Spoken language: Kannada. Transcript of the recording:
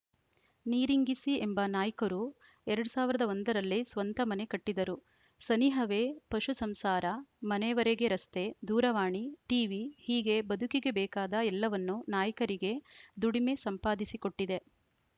ನೀರಿಂಗಿಸಿ ಎಂಬ ನಾಯ್ಕರು ಎರಡ್ ಸಾವಿರದ ಒಂದ ರಲ್ಲಿ ಸ್ವಂತ ಮನೆ ಕಟ್ಟಿದರು ಸನಿಹವೇ ಪಶು ಸಂಸಾರ ಮನೆವರೆಗೆ ರಸ್ತೆ ದೂರವಾಣಿ ಟಿವಿ ಹೀಗೆ ಬದುಕಿಗೆ ಬೇಕಾದ ಎಲ್ಲವನ್ನೂ ನಾಯ್ಕರಿಗೆ ದುಡಿಮೆ ಸಂಪಾದಿಸಿಕೊಟ್ಟಿದೆ